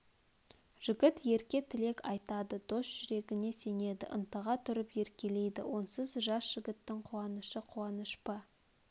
жігіт ерке тілек айтады дос жүрегіне сенеді ынтыға тұрып еркелейді онсыз жас жігіттің қуанышы қуаныш па